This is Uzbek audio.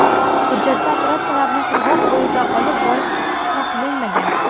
Hujjatda operatsiyalarni qirg‘oqbo‘yida olib borish istisno qilinmagan.